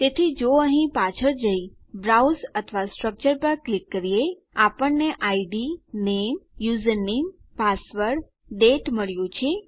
તેથી જો અહીં પાછળ જઈ બ્રાઉઝ અથવા સ્ટ્રકચર પર ક્લિક કરીએ આપણને ઇડ નામે યુઝરનેમ પાસવર્ડ દાતે મળ્યું છે